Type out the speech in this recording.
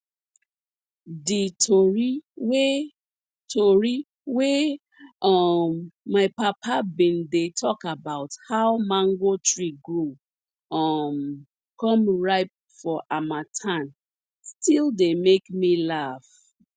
di tori wey tori wey um my papa bin dey tok about how mango tree grow um come ripe for harmattan still dey make me laff